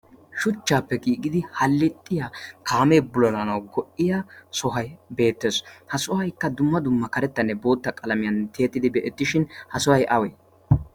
Shuchchaappe giigidi hallixxiya kaamee bululanawu go"iya sohoy beettees. Ha sohaykka dumma dumma karettanne bootta qalamiyan tiyettidi be'ettishin ha sohay awee?